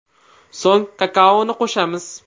So‘ng kakaoni qo‘shamiz.